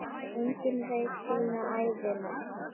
Enginn veit sína ævina.